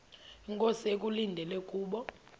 inkosi ekulindele kubo